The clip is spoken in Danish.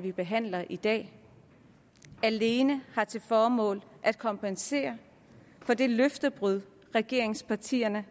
vi behandler i dag alene har til formål at kompensere for det løftebrud regeringspartierne